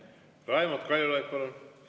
Raimond Kaljulaid, palun!